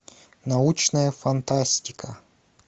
научная фантастика